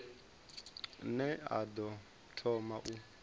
ne a ḓo thoma u